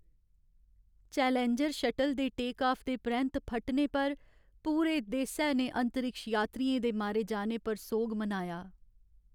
Challenger shuttle दे take off दे परैंत्त फटने पर पूरे देसै ने अंतरिक्ष यात्रियें दे मारे जाने पर सोग मनाया।